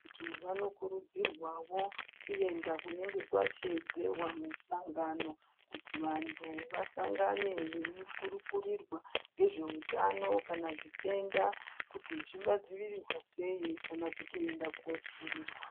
Antu vanokurudzirwawo kuenda kunenge kwasheedzerwa misangano kuti vantu vasangane veikurukurirwa ngezveutano kana zvitenda kuti zvingadzivirirwa sei kana kutooenda kooodzivirirwa .